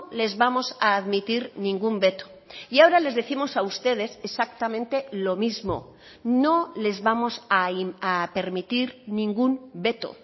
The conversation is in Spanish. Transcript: les vamos a admitir ningún veto y ahora les décimos a ustedes exactamente lo mismo no les vamos a permitir ningún veto